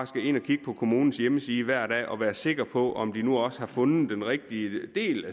skal ind og kigge på kommunens hjemmeside hver dag og være sikre på om de nu også har fundet den rigtige del